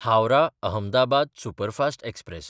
Howrah-Ahmedabad superfast express